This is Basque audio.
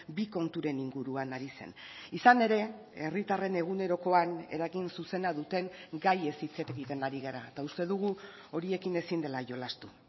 bi konturen inguruan ari zen izan ere herritarren egunerokoan eragin zuzena duten gaiez hitz egiten ari gara eta uste dugu horiekin ezin dela jolastu